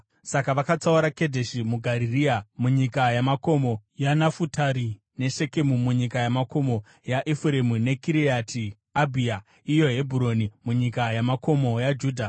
Saka vakatsaura Kedheshi muGarirea munyika yamakomo yaNafutari, neShekemu munyika yamakomo yaEfuremu, neKiriati Abha (iyo Hebhuroni) munyika yamakomo yaJudha.